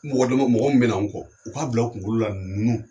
Mɔgɔ dama mɔgɔ min bɛ na anw kɔ u k'a bila u kunkolo la ninnu